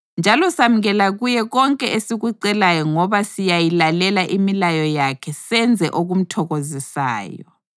njalo samukela kuye konke esikucelayo ngoba siyayilalela imilayo yakhe senze okumthokozisayo.